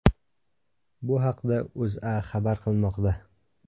Bu haqda O‘zA xabar qilmoqda .